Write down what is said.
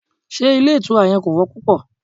Ṣé ilé ìtura yẹn kò wọ́n púpò?